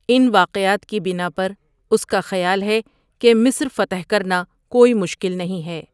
ان واقعات کی بنا پر اس کا خیال ہے کہ مصر فتح کرنا کوئی مشکل نہیں ہے ۔